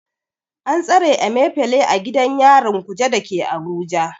An tsare Emefile a gidan yarin Kuje da ke Abuja.